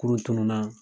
Kurun tununna